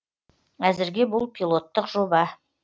әзірге бұл пилоттық жоба